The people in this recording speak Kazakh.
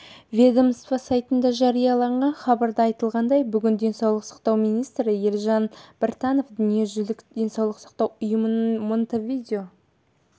ведомство сайтында жарияланған хабарда айтылғандай бүгін денсаулық сақтау министрі елжан біртанов дүниежүзілік денсаулық сақтау ұйымының монтевидео